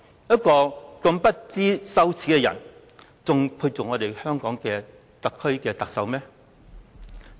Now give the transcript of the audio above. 一個如此不知羞耻的人，還配擔任特區的特首嗎？